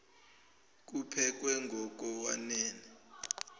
kuphekwe ngok wanele